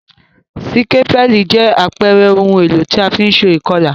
Sikapẹli jẹ àpere oun èlò ti a fi n se ìkolà